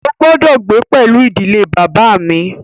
Ó gbọ́dọ̀ gbé pẹlú ìdílé bàbá à mi!